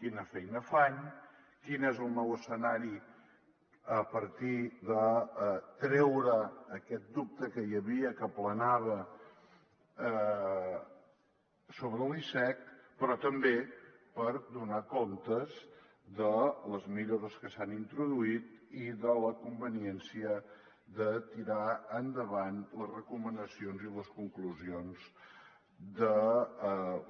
quina feina fan quin és el nou escenari a partir de treure aquest dubte que hi havia que planava sobre l’icec però també per donar comptes de les millores que s’han introduït i de la conveniència de tirar endavant les recomanacions i les conclusions de